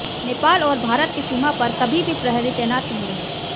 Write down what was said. नेपाल और भारत की सीमा पर कभी भी प्रहरी तैनात नहीं रहे